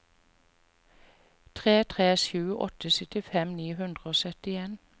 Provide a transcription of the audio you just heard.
tre tre sju åtte syttifem ni hundre og syttien